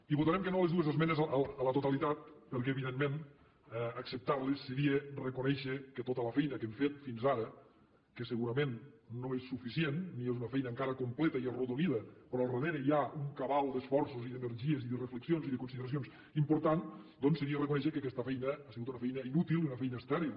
i votarem que no a les dues esmenes a la totalitat perquè evidentment acceptar les seria reconèixer que tota la feina que hem fet fins ara que segurament no és suficient ni és una feina encara completa i arrodonida però al darrere hi ha una cabal d’esforços i d’energies i de reflexions i de consideracions important doncs seria reconèixer que aquesta feina ha sigut una feina inútil i una feina estèril